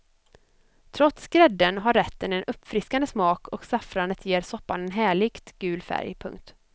Trots grädden har rätten en uppfriskande smak och saffranet ger soppan en härligt gul färg. punkt